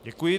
Děkuji.